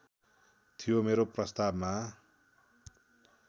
थियो मेरो प्रस्तावमा